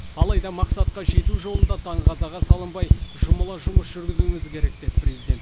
алайда мақсатқа жету жолында даңғазаға салынбай жұмыла жұмыс жүргізуіміз керек деді президент